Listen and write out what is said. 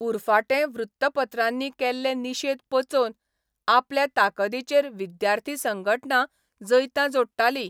उरफाटें वृत्तपत्रांनी केल्ले निशेध पचोवन आपले ताकदीचेर विद्यार्थी संघटना जैतां जोडटाली.